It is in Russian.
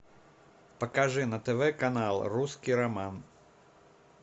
покажи на тв канал русский роман